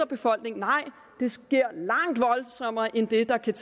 befolkningen nej det sker langt voldsommere end det der kan